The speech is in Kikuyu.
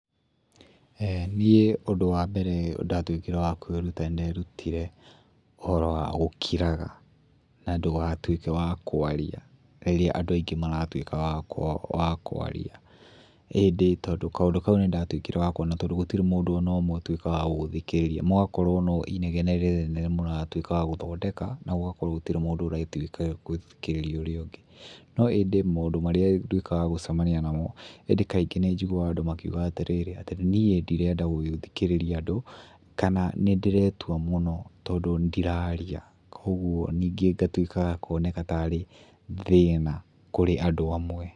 Eeh niĩ ũndũ wa mbere ndatuĩkire wa kwĩruta nĩ nderutire ũhoro wa gũkiraga na ndũgatuĩke wa kwaria rĩrĩa andũ aingĩ maratuĩka wa kũ wa kũaria. Ĩndĩ tondu kaũndũ kau nĩndatuĩkire wa kũona tondu gũtirĩ mũndũ ona ũmwe ũtuĩkaga wa gũgũthikĩrĩria. Mũgakorwo no inegene rĩnene mũratwĩka wa gũthondeka, na gũgakorwo gũtirĩ mũndũ uretĩkĩra gũthikĩrĩria ũrĩa ũngĩ. No ĩndĩ maũndũ marĩa nduĩkaga wa gũcamania namo, ĩndĩ kaingĩ nĩnjiguaga andũ makiuga atĩrĩrĩ; atĩ niĩ ndirenda gũthikĩrĩria andũ, kana nĩndĩretua mũno tondũ ndiraria. Kogwo ningĩ ngatwĩkaga kwoneka ta arĩ thĩna kurĩ andũ amwe.